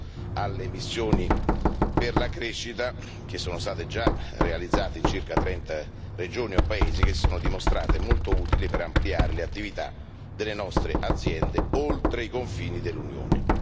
Penso alle missioni per la crescita, che sono state già realizzate in circa 30 regioni o paesi e che si sono dimostrate molto utili per ampliare le attività delle nostre aziende oltre i confini dell'Unione.